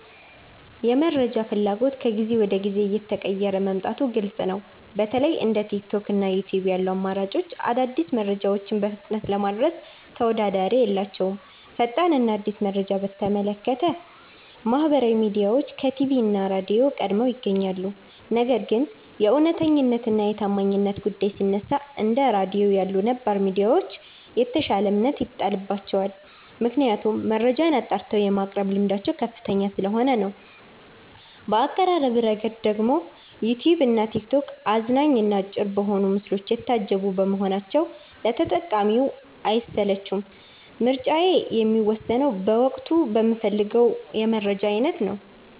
የመረጃ ፍላጎት ከጊዜ ወደ ጊዜ እየተቀየረ መምጣቱ ግልጽ ነው። በተለይ እንደ ቲክቶክ እና ዩትዩብ ያሉ አማራጮች አዳዲስ መረጃዎችን በፍጥነት ለማድረስ ተወዳዳሪ የላቸውም። ፈጣን እና አዲስ መረጃን በተመለከተ ማህበራዊ ሚዲያዎች ከቲቪ እና ራድዮ ቀድመው ይገኛሉ። ነገር ግን የእውነተኛነት እና የታማኝነት ጉዳይ ሲነሳ፣ እንደ ራድዮ ያሉ ነባር ሚዲያዎች የተሻለ እምነት ይጣልባቸዋል። ምክንያቱም መረጃን አጣርተው የማቅረብ ልምዳቸው ከፍተኛ ስለሆነ ነው። በአቀራረብ ረገድ ደግሞ ዩትዩብ እና ቲክቶክ አዝናኝ እና አጭር በሆኑ ምስሎች የታጀቡ በመሆናቸው ለተጠቃሚው አይሰለቹም። ምርጫዬ የሚወሰነው በወቅቱ በምፈልገው የመረጃ አይነት ነው።